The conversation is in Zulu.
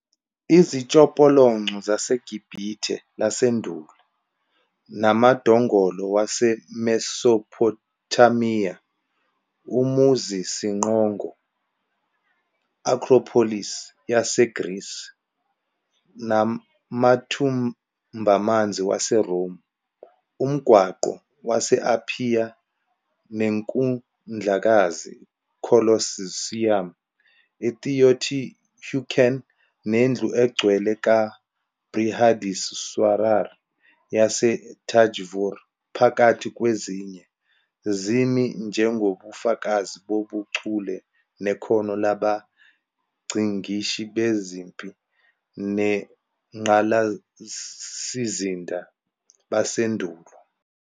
Izitshopolonco zaseGibhithe lasendulo, namadongolo waseMesopothamiya, umuzisiqongo "acropolis" yaseGrisi, namathumbamanzi waseRoma, umgwaqo wase-Aphiya neNkundlakazi "Colosseum", i-"Teotihuacán", nendlu engcwele ka-Brihadeeswarar yase-Thanjavur, phakathi kwezinye, zimi njengobufakazi bobuchule nekhono labangcikishi bezempi nengqalasizinda basendulo.